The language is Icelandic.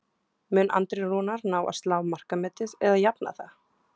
Mun Andri Rúnar ná að slá markametið eða jafna það?